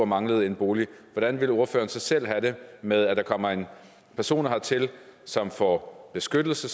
manglede en bolig hvordan ville ordføreren så selv have det med at der kommer personer hertil som får beskyttelse